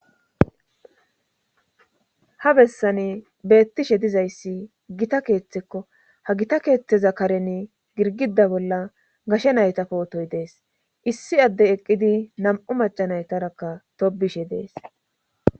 ha bessani beettishe dizayssi gita keeththekko ha gita keeththeza karen girgida bolla gashe nayta pootoy dees issi adde eqqidi nam7u macanaytarakka tobishe dees